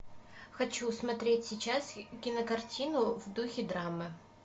хочу смотреть сейчас кинокартину в духе драмы